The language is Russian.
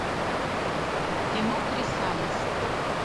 кино крисалис